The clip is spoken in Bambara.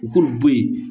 U k'u bɔ yen